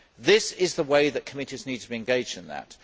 This is the way that committees need to be engaged in that.